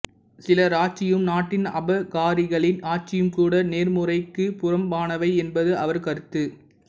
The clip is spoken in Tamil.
சிலராட்சியும் நாட்டின் அபகாரிகளின் ஆட்சியும்கூட நேர்முறைக்குப் புறம்பானவை என்பது அவர் கருத்து